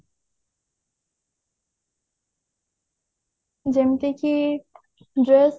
ଯେମତି କି dress